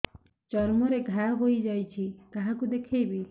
ଚର୍ମ ରେ ଘା ହୋଇଯାଇଛି କାହାକୁ ଦେଖେଇବି